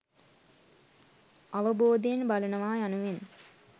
අවබෝධයෙන් බලනවා යනුවෙන්